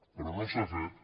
però no s’ha fet